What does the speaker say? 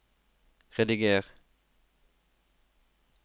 rediger